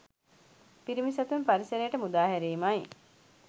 පිරිමි සතුන් පරිසරයට මුදා හැරීමයි